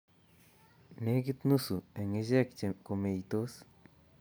Nekit nuse eng' ichek komeitos